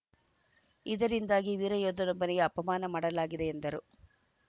ಇದರಿಂದಾಗಿ ವೀರಯೋಧನೊಬ್ಬನಿಗೆ ಅಪಮಾನ ಮಾಡಲಾಗಿದೆ ಎಂದರು